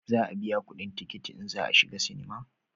Za a biya kudin tikiti in za a shiga sinima